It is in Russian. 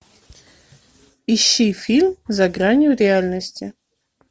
ищи фильм за гранью реальности